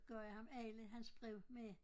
Gav jeg ham alle hans breve med